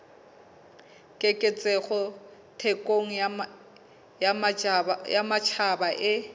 keketseho thekong ya matjhaba e